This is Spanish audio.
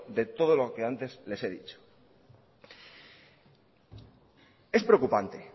de todo lo que antes le he dicho es preocupante